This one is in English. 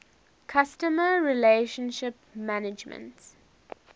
customer relationship management